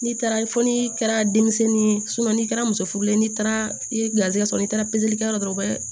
N'i taara fo n'i kɛra denmisɛnnin ye n'i kɛra muso furulen ye n'i taara i ye garizigɛ sɔrɔ n'i taara pezeli kɛla dɔrɔn